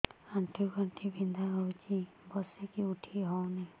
ଆଣ୍ଠୁ ଗଣ୍ଠି ବିନ୍ଧା ହଉଚି ବସିକି ଉଠି ହଉନି